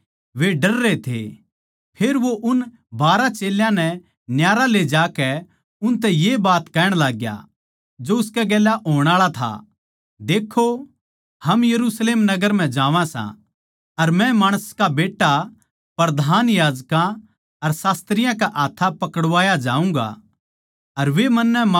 वे यरुशलेम नगर म्ह जान्दे होए राह म्ह थे अर यीशु उनकै आग्गैआग्गै जाण लाग रहया था चेल्लें हैरान थे अर जो चेल्यां कै गेलगेल चाल्लै थे वे डररे थे फेर वो उन बारहां चेल्यां नै न्यारा ले ज्याकै उनतै ये बात कह्ण लाग्या जो उसकै गेल्या होण आळा था